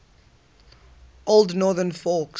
old northern folk